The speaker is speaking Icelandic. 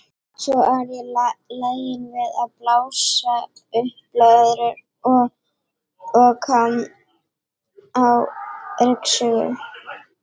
Svo er ég lagin við að blása upp blöðrur og og kann á ryksugu.